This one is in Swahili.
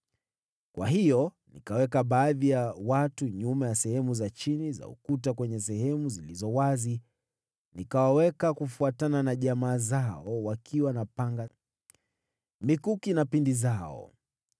Kwa hiyo nikaweka baadhi ya watu nyuma ya sehemu za chini za ukuta kwenye sehemu zilizo wazi, nikawaweka kufuatana na jamaa zao, wakiwa na panga, mikuki na pinde zao.